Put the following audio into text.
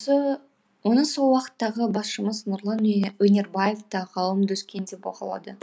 оны сол уақыттағы басшымыз нұрлан өнербаев та ғалым доскен де бағалады